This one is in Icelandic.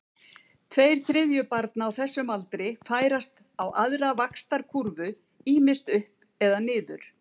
Tveir þriðju barna á þessum aldri færast á aðra vaxtarkúrfu, ýmist upp eða niður.